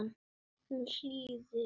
Hún hlýðir.